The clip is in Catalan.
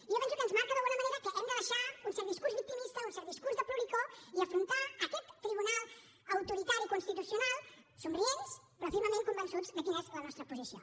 i jo penso que ens marca d’alguna manera que hem de deixar un cert discurs victimista un cert discurs de ploricó i afrontar aquest tribunal autoritari constitucional somrients però fermament convençuts de quina és la nostra posició